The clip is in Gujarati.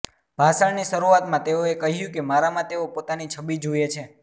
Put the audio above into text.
ભાષણની શરૂઆતમાં તેઓએ કહ્યું કે મારામાં તેઓ પોતાની છબિ જુએ છે